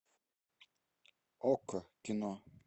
окко кино